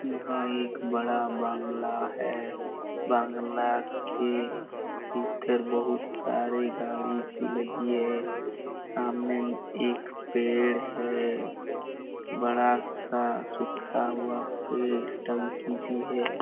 यहाँ एक बहुत बड़ा बंगला है बंगला के इधर बहुत सारे गाड़ी भी लगी है सामने एक पेड़ है बड़ा सा सूखा हुआ पेड़ टंकी भी है|